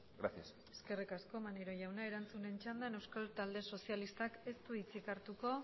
gracias eskerrik asko maneiro jauna erantzunen txandan euskal talde sozialistak ez du hitzik hartuko